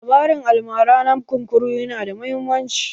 Labarin almara na kunkuru na da muhimmanci